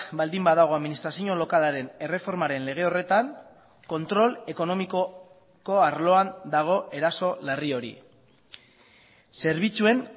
baldin badago administrazio lokalaren erreformaren lege horretan kontrol ekonomikoko arloan dago eraso larri hori zerbitzuen